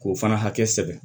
K'o fana hakɛ sɛbɛn